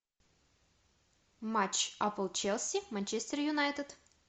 матч апл челси манчестер юнайтед